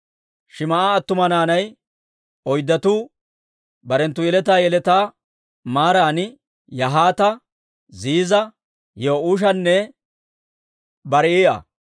Shim"a attuma naanay oyddatuu, barenttu yeletaa yeletaa maaran Yahaata, Ziiza, Yi'uushanne Barii'a.